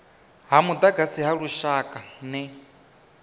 ha mudagasi ha lushaka ner